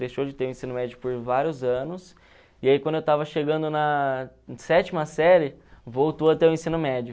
Deixou de ter o ensino médio por vários anos, e aí quando eu estava chegando na sétima série, voltou a ter o ensino médio.